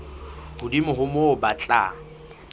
hodimo ho moo ba tla